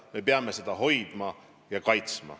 Me peame seda hoidma ja kaitsma.